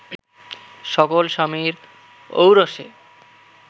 সকল স্বামীর ঔরসে